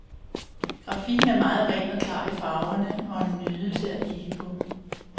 Grafikken er meget ren og klar i farverne og en nydelse at kigge på.